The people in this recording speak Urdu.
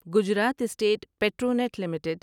Gujarat State Petronet limited